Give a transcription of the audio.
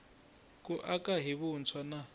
ku aka hi vuntshwa na